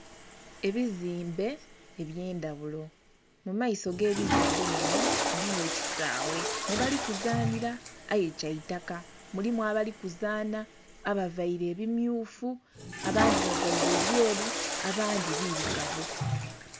Ebizimbe ebye ndhaghulo , mu maiso ge bizimbe munho mulimu ekisaghe mwe bali ku zanhila aye kya itaka, mulimu abali kuzaanha abavaire ebimyufu, abandhi bavaire ebyeru abandhi birugavu.